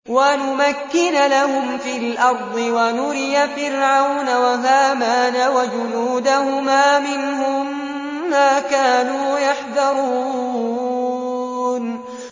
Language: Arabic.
وَنُمَكِّنَ لَهُمْ فِي الْأَرْضِ وَنُرِيَ فِرْعَوْنَ وَهَامَانَ وَجُنُودَهُمَا مِنْهُم مَّا كَانُوا يَحْذَرُونَ